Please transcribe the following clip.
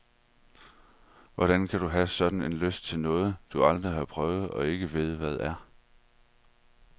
Hvordan kan du have sådan en lyst til noget, du aldrig har prøvet og ikke ved hvad er?